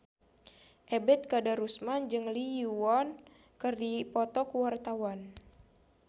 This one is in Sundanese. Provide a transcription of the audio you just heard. Ebet Kadarusman jeung Lee Yo Won keur dipoto ku wartawan